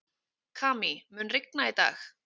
Kamí, mun rigna í dag?